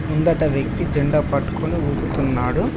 ముందట వ్యక్తి జెండా పట్టుకుని ఊపుతున్నాడు